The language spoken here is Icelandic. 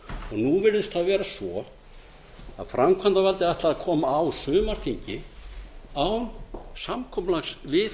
nú virðist það vera svo að framkvæmdarvaldið ætli að koma á sumarþingi án samkomulags við